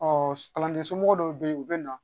Ɔ kalanden somɔgɔ dɔw bɛ yen u bɛ na